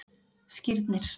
Skírnir